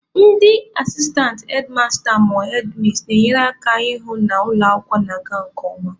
Ndị asistantị hedmasta/hedmis na-enyere ha aka ịhụ na ụlọ akwụkwọ na-aga nke ọma.